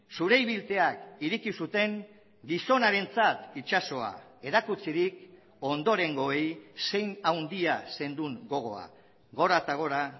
zure ibiltzeak ireki zuten gizonarentzat itsasoa erakutsirik ondorengoei zein handia zenduen gogoa gora eta gora